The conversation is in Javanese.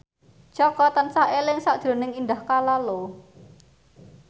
Jaka tansah eling sakjroning Indah Kalalo